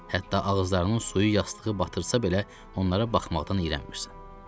Hətta ağızlarının suyu yastığı batırsa belə, onlara baxmaqdan iyrənmirsən.